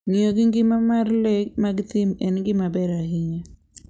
Ng'iyo gi ngima mar le mag thim en gima ber ahinya.